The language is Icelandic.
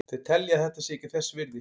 Þeir telja að þetta sé ekki þess virði.